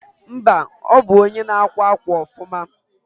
mba, onwu ndi na akwa akwa ofuma